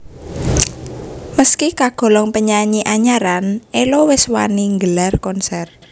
Meski kagolong penyanyi anyaran Ello wis wani nggelar konser